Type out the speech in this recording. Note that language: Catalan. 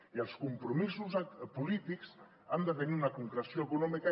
i els compromisos polítics han de tenir una concreció econòmica